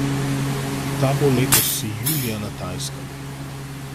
Ta bo letos julija na Tajskem.